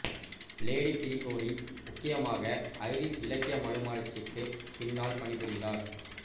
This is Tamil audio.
லேடி கிரிகோரி முக்கியமாக ஐரிஷ் இலக்கிய மறுமலர்ச்சிக்கு பின்னால் பணிபுரிந்தார்